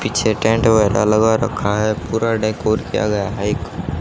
पीछे टेंट वगैराह लगा रखा है पूरा डेकोरेट किया गया है एक--